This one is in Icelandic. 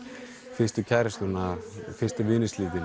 fyrstu kærustuna fyrstu